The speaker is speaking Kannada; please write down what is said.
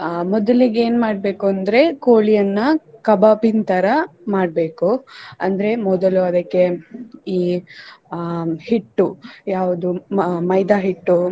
ಅಹ್ ಮೊದಲಿಗೆ ಏನ್ ಮಾಡ್ಬೇಕು ಅಂದ್ರೆ ಕೋಳಿ ಅನ್ನ ಕಬಾಬಿನ್ತರ ಮಾಡ್ಬೇಕು ಅಂದ್ರೆ ಮೊದಲು ಅದಕ್ಕೆ ಈ ಅಹ್ ಹಿಟ್ಟು ಯಾವುದು ಮ~ ಮೈದಾ ಹಿಟ್ಟು.